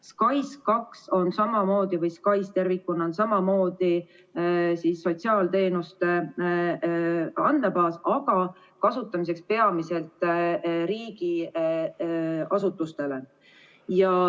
SKAIS2 või SKAIS ervikuna on samamoodi sotsiaalteenuste andmebaas, aga see on mõeldud kasutamiseks peamiselt riigiasutustele.